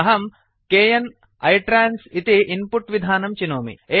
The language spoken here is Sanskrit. अहं kn इट्रान्स इति इन्पुट् विधानं चिनोमि